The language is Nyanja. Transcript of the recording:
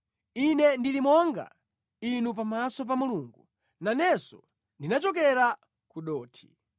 Ine ndili monga inu pamaso pa Mulungu; nanenso ndinachokera ku dothi.